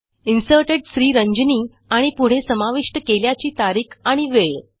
inserted Sriranjani आणि पुढे समाविष्ट केल्याची तारीख आणि वेळ